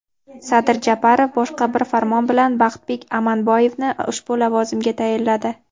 Sadir Japarov boshqa bir farmon bilan Baxtbek Amanboyevni ushbu lavozimga tayinladi.